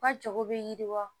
U ka jago bɛ yiriwa